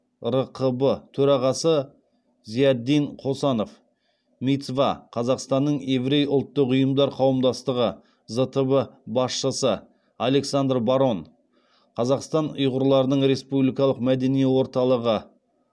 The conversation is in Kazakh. рқб төрағасы зиятдин қосанов мицва қазақстанның еврей ұлттық ұйымдар қауымдастығы зтб басшысы александр барон қазақстан ұйғырларының республикалық мәдени орталығы